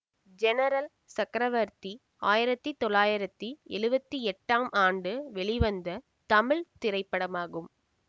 general Chakravarthi ஆயிரத்தி தொள்ளாயிரத்தி எழுவத்தி எட்டாம் ஆண்டு வெளிவந்த தமிழ் திரைப்படமாகும்